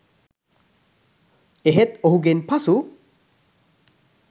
එහෙත් ඔහුගෙන් පසු